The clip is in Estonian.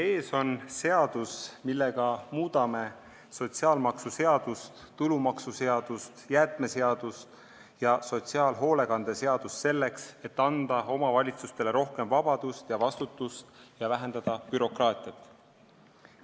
Teie ees on seadus, millega muudame sotsiaalmaksuseadust, tulumaksuseadust, jäätmeseadust ja sotsiaalhoolekande seadust, selleks et anda omavalitsustele rohkem vabadust ja vastutust ning vähendada bürokraatiat.